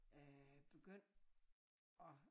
Øh begyndt at